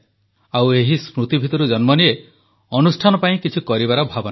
ଆଉ ଏହି ସ୍ମୃତି ଭିତରୁ ଜନ୍ମନିଏ ଅନୁଷ୍ଠାନ ପାଇଁ କିଛି କରିବାର ଭାବନା